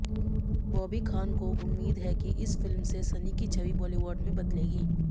बॉबी खान को उम्मीद है कि इस फिल्म से सनी की छवि बॉलीवुड में बदलेगी